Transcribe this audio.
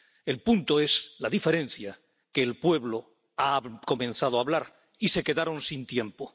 El punto, la diferencia es que el pueblo ha comenzado a hablar y se quedaron sin tiempo.